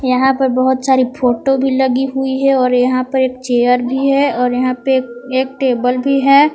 यहां पर बहुत सारी फोटो भी लगी हुई है और यहां पर एक चेयर भी है और यहां पर एक टेबल भी है।